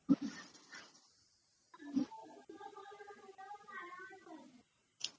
Blank